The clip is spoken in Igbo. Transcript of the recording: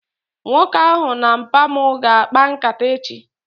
Nwoke ahụ na mpa mu ga akpa nkata echi